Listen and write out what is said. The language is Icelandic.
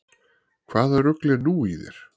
Hvaða rugl er nú í þér?